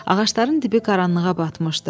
Ağacların dibi qaranlığa batmışdı.